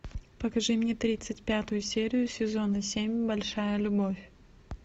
покажи мне тридцать пятую серию сезона семь большая любовь